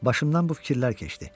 Başımdan bu fikirlər keçdi.